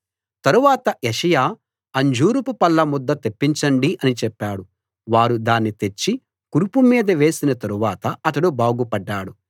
తరువాత యెషయా అంజూరపుపళ్ళ ముద్ద తెప్పించండి అని చెప్పాడు వారు దాన్ని తెచ్చి కురుపు మీద వేసిన తరువాత అతడు బాగు పడ్డాడు